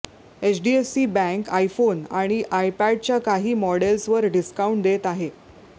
HDFC बँके iPhone आणि आयपॅडच्या काही मोडेल्सवर डिस्काउंट देत आहे